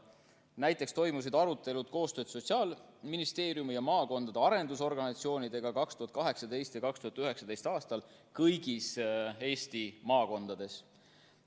Näiteks toimusid arutelud koostöös Sotsiaalministeeriumi ja maakondade arendusorganisatsioonidega 2018. ja 2019. aastal kõigis Eesti maakondades.